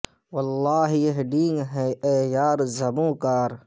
واللہ کو یہ ڈینگ ہے اے یار زبوں کار